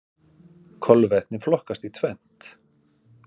Kolvetni flokkast í tvennt.